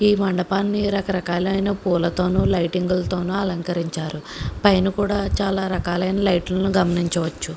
ఈ మండపాన్ని రకరకాలైన పూలతో లైటింగ్ తోనూ అలంకరించారు పైన కూడా చాలా రకాలైన లైట్లను గమనించవచ్చు.